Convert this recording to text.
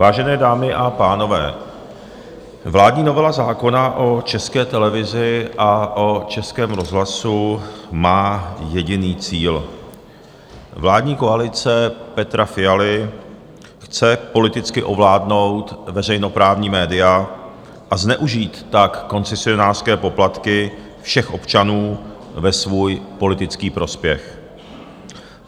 Vážené dámy a pánové, vládní novela zákona o České televizi a o Českém rozhlasu má jediný cíl: vládní koalice Petra Fialy chce politicky ovládnout veřejnoprávní média, a zneužít tak koncesionářské poplatky všech občanů ve svůj politický prospěch.